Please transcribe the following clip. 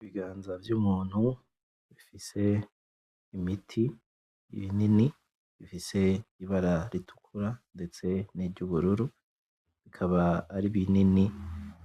Ibiganza vy'umuntu bifise imiti y'ibinini, bifise ibara ritukura ndetse n'iryubururu, bikaba ari ibinini